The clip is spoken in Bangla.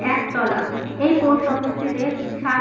এক তলা। এই পোস্ট অফিস টিতে সাত--